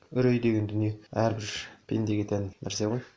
үрей деген дүние әрбір пендеге тән нәрсе ғой